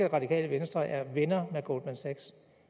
radikale venstre er venner med goldman sachs